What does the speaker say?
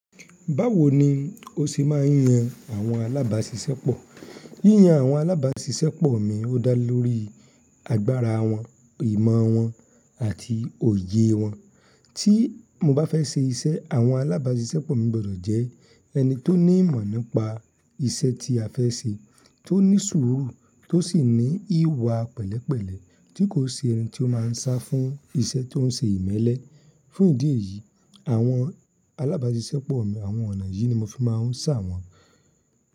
Báwo ni o ṣe máa ń yan àwọn alábàáṣiṣẹ́pọ̀? Yíyan àwọn alábàáṣiṣẹ́pọ̀ mi, ó dá lórí agbára wọn, ìmọ̀ wọn àti òye wọn. Tí mo bá fẹ́ ṣe iṣẹ́, àwọn alábàáṣiṣẹ́pọ̀ mi gbọ́dọ̀ jẹ ẹni tó ní ìmọ̀ nípa iṣẹ́ tí a fẹ́ ṣe, tó ní sùúrù, tó sì ní ìwà pẹ̀lẹ́pẹ̀lẹ́ tí kò ṣe ẹni tí ó máa ń sá fún iṣẹ́ tó ń ṣe ìmẹ́lẹ́. Fún ìdí èyí, àwọn alábàáṣiṣẹ́pọ̀ mi àwọn ọ̀nà yìí ni mo fi máa ń ṣà wọ́n.